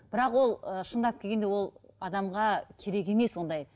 бірақ ол ы шындап келгенде ол адамға керек емес ондай